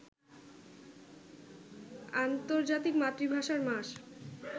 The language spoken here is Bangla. আন্তর্জাতিক মাতৃভাষার মাস